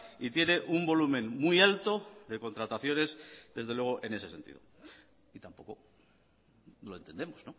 y tiene un volumen muy alto de contrataciones desde luego en ese sentido y tampoco lo entendemos